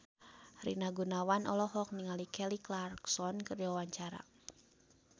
Rina Gunawan olohok ningali Kelly Clarkson keur diwawancara